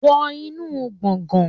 Wọ inú gbọ̀ngán